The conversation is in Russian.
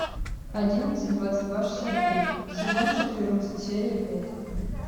одиннадцать двадцать два шестьдесят три сезон четырнадцать серия пять